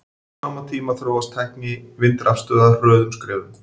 Á sama tíma þróast tækni vindrafstöðva hröðum skrefum.